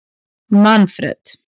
Manfred